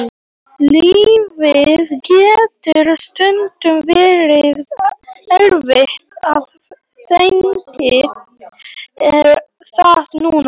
Lífið getur stundum verið erfitt og þannig er það núna.